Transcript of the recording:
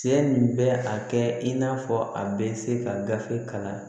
Cɛ nin bɛ a kɛ i n'a fɔ a bɛ se ka gafe kalan